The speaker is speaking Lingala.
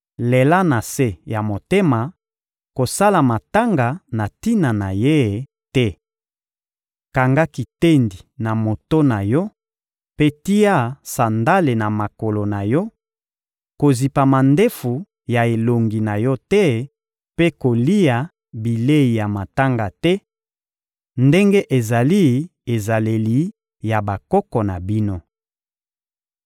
Lela na se ya motema, kosala matanga na tina na ye te. Kanga kitendi na moto na yo mpe tia sandale na makolo na yo; kozipa mandefu ya elongi na yo te mpe kolia bilei ya matanga te, ndenge ezali ezaleli ya bokoko na bino.»